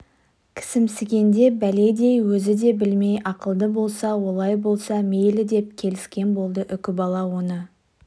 кісімсігенде бәледей өзі де білмей ме ақылды болса олай болса мейлі деп келіскен болды үкібала оны